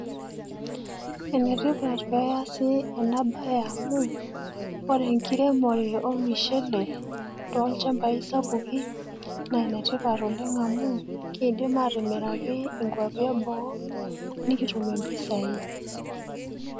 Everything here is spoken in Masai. Enetipat peeasi ena baye amu ore enkiremore olmishele toolchambai sapuki neenetipat oleng' amu keidim atimiraki inkuapi eboo nikitum impisai.